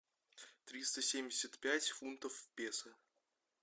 триста семьдесят пять фунтов песо